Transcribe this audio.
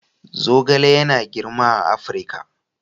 Zogale yana girma a Afirka.